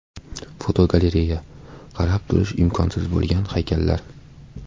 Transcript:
Fotogalereya: Qarab turish imkonsiz bo‘lgan haykallar.